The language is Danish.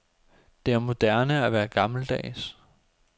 Det er moderne at være gammeldags.